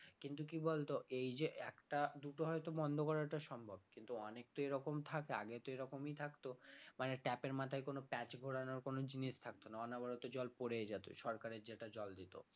কিন্তু কি বলতো এই যে একটা দুটো হয়তো বন্ধ করাটা সম্ভব কিন্তু অনেক তো এরকম থাকে আগে তো এরকমই থাকতো মানে tap এর মাথায় কোন প্যাচ ঘোরানোর কোন জিনিস থাকত না অনবরত জল পড়ে যেত সরকারে যেটা জল দিতো